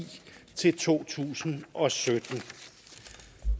til to tusind og sytten